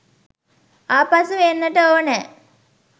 ආපසු එන්නට ඕනෑ